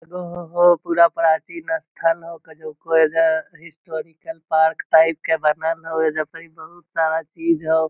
एगो हो पूरा प्राचीन अस्थल हउ अ एक ठो ऐजा पार्क टाइप के बनल हाउ ऐजा परही बहुत सारा चीज हाउ |